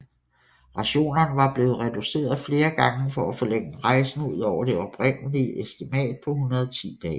Rationerne var blevet reduceret flere gange for at forlænge rejsen ud over det oprindelige estimat på 110 dage